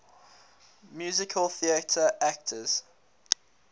musical theatre actors